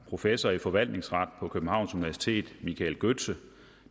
professor i forvaltningsret på københavns universitet michael gøtze